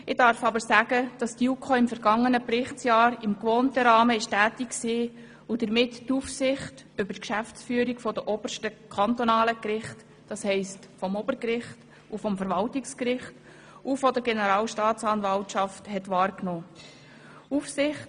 Ich darf sagen, dass die JuKo im vergangenen Berichtsjahr im gewohnten Rahmen tätig war und damit die Aufsicht über die Geschäftsführung der obersten kantonalen Gerichte, das heisst, des Obergerichts und des Verwaltungsgerichts sowie der Generalstaatsanwaltschaft wahrgenommen hat.